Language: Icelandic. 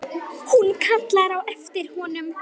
Hún kallar á eftir honum.